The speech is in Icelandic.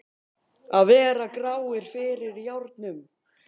Að vera gráir fyrir járnum